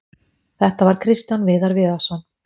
Þetta var Kristján Viðar Viðarsson.